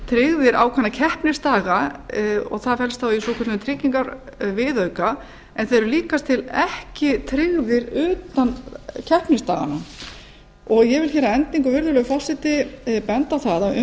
tryggðir ákveðna keppnisdaga og það felst þá í svokölluðum tryggingaviðauka en þeir eru líkast til ekki tryggðir utan keppnisdaganna ég vil hér að endingu virðulegi forseti benda á það